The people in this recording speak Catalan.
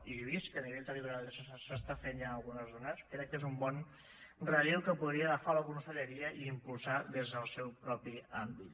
i vist que a nivell territorial es fa ja en algunes zones crec que és un bon relleu que podria agafar la conselleria i impulsar des del seu propi àmbit